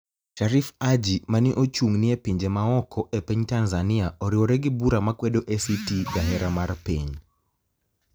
Sharif aAji mani e ochunig ni e pinije maoko e piniy tanizaniia oriwore gi bura makwedo ACT jahera mar piniy